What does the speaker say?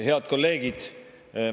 Head kolleegid!